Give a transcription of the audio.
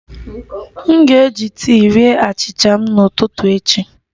M ga-eji tii rie achịcha m n'ụtụtụ echi